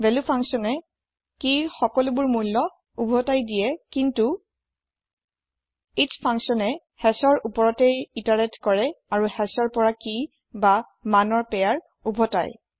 value ফাঙ্কচ্যনে কিৰৰৰ সকলোবোৰ মূল্য উভতাই কিন্তু এচ ফাঙ্কচ্যনে hashৰ ওপৰতেই ইতাৰেত কৰে আৰু hashৰ পৰা কি বা মূল্যৰ পেয়াৰ উভতাই